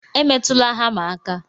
Emetụla hama aka!